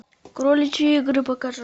кроличьи игры покажи